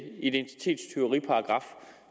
identitetstyveriparagraf